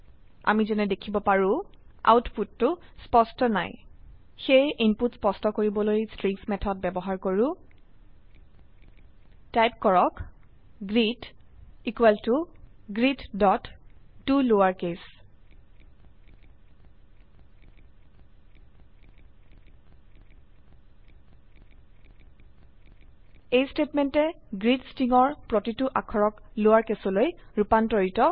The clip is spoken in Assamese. আমি যেনে দেখিব লাৰো আউটপুটটো স্পষ্ট নাই সেয়ে ইনপুট স্পষ্ট কৰিবলৈ স্ট্ৰিং মেথড ব্যবহাৰ কৰো টাইপ গ্ৰীট ইকোৱেল ত greettoLowerCase এই স্টেটমেন্টে গ্ৰীট স্ট্ৰিংৰ প্ৰতিটো অক্ষৰক লোৱাৰকেছলৈ ৰুপান্তৰিত কৰে